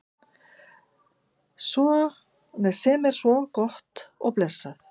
Sem er svo sem gott og blessað.